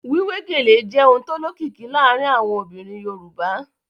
Wíwé gèlè jẹ́ ohun tó lókìkí láàárín àwọn obìnrin Yorùbá